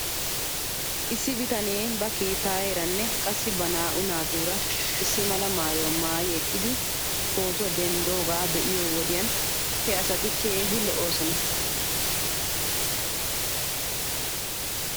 Issi bitanee ba keettaayeeranne qassi ba naa'u naatuura issi mala maayuwaa maayi eqqidi pootuwaa denddidoogaa be'iyoo wodiyan he asati keehi lo'oosona